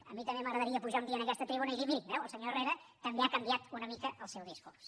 a mi també m’agradaria pujar un dia a aquesta tribuna i dir miri veu el senyor herrera també ha canviat una mica el seu discurs